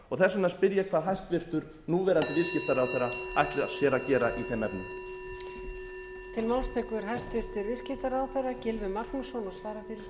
og þess vegna spyr ég hvað hæstvirtur núverandi viðskiptaráðherra ætli sér að gera í þeim efnum